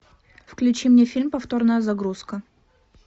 включи мне фильм повторная загрузка